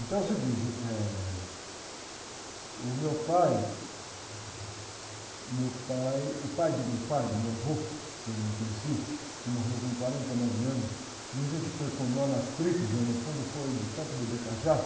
Então é o seguinte, eh, o meu pai, o meu pai, o pai do meu pai, meu avô, que eu não conheci, que morreu com quarenta e nove anos, dizem que foi com nó nas tripas, mas, no fundo, foi de tanto beber cachaça,